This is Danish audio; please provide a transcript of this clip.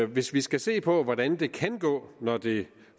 hvis vi skal se på hvordan det kan gå når det